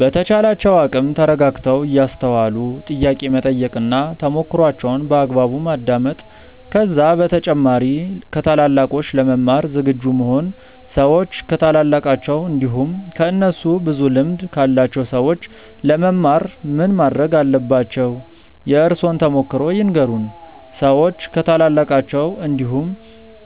በተቻላቸው አቅም ተረጋግተው እያስተዋሉ ጥያቄ መጠየቅ እና ተሞክሮዋቸውን በአግባቡ ማዳመጥ ከዛ በተጨማሪ ከታላላቆች ለመማር ዝግጁ መሆን ሰዎች ከታላላቃቸው እንዲሁም ከእነሱ ብዙ ልምድ ካላቸው ሰዎች ለመማር ምን ማረግ አለባቸው? የእርሶን ተሞክሮ ይንገሩን? ሰዎች ከታላላቃቸው እንዲሁም